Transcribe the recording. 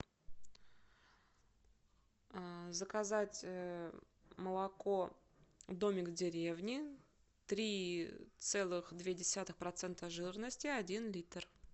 заказать молоко домик в деревне три целых две десятых процента жирности один литр